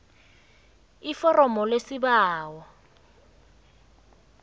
iforomo lesibawo